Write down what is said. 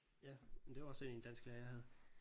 Ja men det var også sådan en dansklærer jeg havde